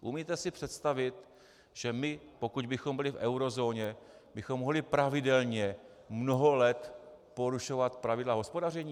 Umíte si představit, že my, pokud bychom byli v eurozóně, bychom mohli pravidelně, mnoho let porušovat pravidla hospodaření?